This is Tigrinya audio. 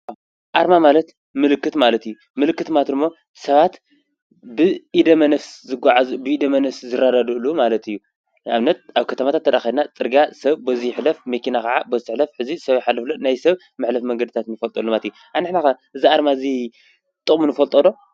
ኣርማ ማለት ምልክት ማለት እዩ ምልክት ማለት ድማ ሰባት ብደመነፍስ ዝጉዓዙ ብደመነፍስ ዝረዳድእሉ ማለት እዩ። ንኣብነት ኣብ ከተማታት እንተድኣኬድና ሰብ በዙይ ይሕለፍ መኪና ካዓ በዙይ ትሕለፍ እዚ ሰብ ይሓልፍ ኣሎ ናይ ሰብ መሕለፊ መንገድታት ንፈልጠሉ ማለት እዩ። ንሕና ኸ እዚ ኣርማ እዚ ጥቕሙ ንፈልጦ ዶ ?